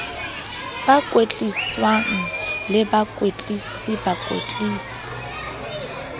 ba kwetliswang le bakwetlisi bakwetlisi